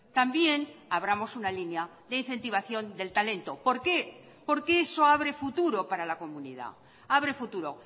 también abramos una línea de incentivación del talento por qué porque eso abre futuro para la comunidad abre futuro